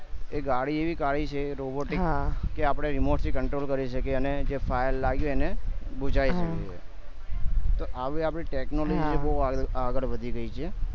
એક ગાડી એવી કાઢી છે robot કે આપડે remote થી control કરી શકીએ અને જે fire જે લાગ્યું હોય એને બુઝાવી શકીએ તો આવી આપડી technology એ બહુ આગળ વધી ગયી છે